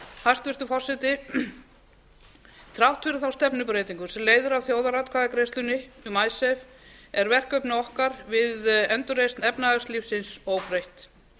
hæstvirtur forseti þrátt fyrir þá stefnubreytingu sem leiðir af þjóðaratkvæðagreiðslunni um icesave er verkefni okkar við endurreisn efnahagslífsins óbreytt